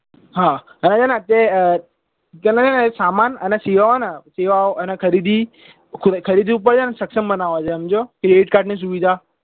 હા અને છે ને અત્યારે તને સમાન અને સેવાઓ ઓ અને ખરીદી ખરીદી ઉપર તને સક્ષમ બનાવે છે સમજ્યો credit card ની સુવિધા